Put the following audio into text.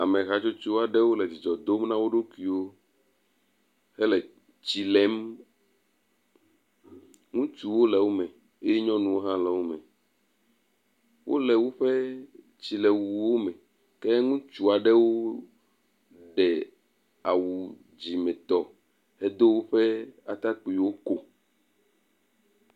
Ame hatsotso aɖewo le dzidzɔ dom na wo ɖokuiwo hele tsi lem. ŋutsuwo le wo me, eye nyɔnuwo hã le wo me, wole woƒe tsilewuwo me, ke ŋutsu aɖewo ɖe awu dzimetɔ hedo woƒe atakpuiwo ko.